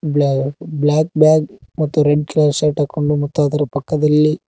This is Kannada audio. ಬ್ಲಾ ಬ್ಲಾಕ್ ಬ್ಯಾಗ್ ಮತ್ತು ರೆಡ್ ಕಲರ್ ಶರ್ಟ್ ಹಾಕೊಂಡು ಅದರ ಪಕ್ಕದಲ್ಲಿ--